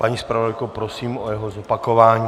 Paní zpravodajko, prosím o jeho zopakování.